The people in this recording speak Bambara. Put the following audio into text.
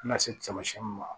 Na se tamasiyɛn ma